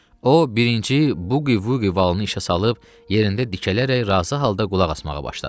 O, birinci buqivugi valını işə salıb yerində dikələrək razı halda qulaq asmağa başladı.